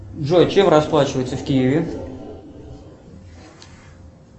джой чем расплачиваются в киеве